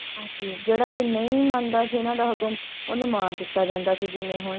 ਹਾਂਜੀ ਹਾਂ ਜਿਹੜਾ ਕੋਈ ਨਹੀਂ ਮੰਨਦਾ ਸੀ ਇਹਨਾਂ ਦਾ ਹੁਕਮ ਉਹਨੂੰ ਮਾਰ ਦਿੱਤਾ ਜਾਂਦਾ ਸੀ ਜਿਵੇਂ ਹੁਣ,